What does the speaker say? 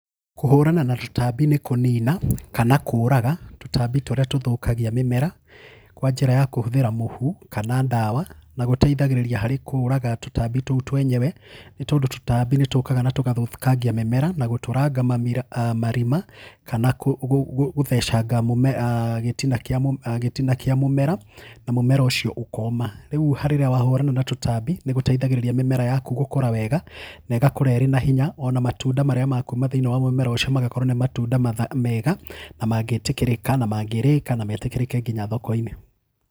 Kũhũrana na tũtambi nĩ kũnina kana kũũraga tũtambi tũrĩa tũthũkagia mĩmera kwa njĩra ya kũhũthĩra mũhu, kana ndawa, na gũteithagĩrĩria harĩ kũũraga tũtambi tũu twenyewe, tondũ tũtambi nĩ tũkaga na tũkathũkangia mĩmera na gũtũranga marima kana gũthecanga gĩtina kĩa mũmera, na mũmera ũcio ũkoma. Rĩu rĩrĩa wahũrana na tũtambi, nĩ gũteithagĩrĩria mĩmera yaku gũkũra wega, na ĩgakũra ĩrĩ na hinya,o na matunda marĩa makuuma thĩinĩ wa mũmera ũcio magakorũo nĩ matunda mega na mangĩĩtĩkĩrĩka na mangĩrĩka na metĩkĩrĩke nginya thoko-inĩ.